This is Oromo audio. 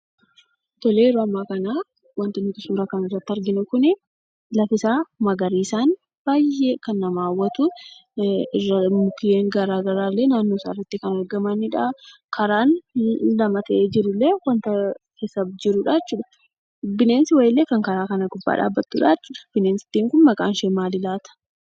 Tole, yeroo ammaa kanaa wanti suuraa kanarratti arginu kunii lafi isaa magariisaan, baayyee kan nama hawwatu mukeen garagaraa naannoo isaarratti kan argamanidha. Karaan inni lama ta'ee jirullee wanta keessa jirudha jechuudha. Bineensi wayiillee kan karaa kana gubbaa dhaabbatudhaa jechuudha. Bineensittiin kun maqaanshee maali laata?